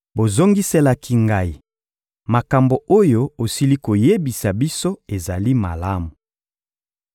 Bozongiselaki ngai: — Makambo oyo osili koyebisa biso ezali malamu.